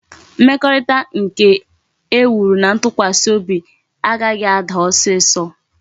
Mmekorita nke e wuru na ntukwasi obi a gaghi a daa osiso